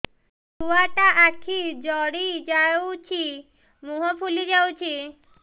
ଛୁଆଟା ଆଖି ଜଡ଼ି ଯାଉଛି ମୁହଁ ଫୁଲି ଯାଉଛି